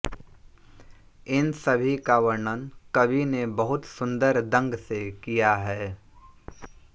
इन सभी का वर्णन कवि ने बहुत सुंदर दंग से किया है